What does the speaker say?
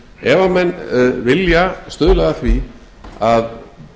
ef menn vilja stuðla að því að